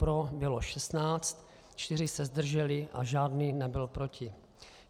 Pro bylo 16, čtyři se zdrželi a žádný nebyl proti.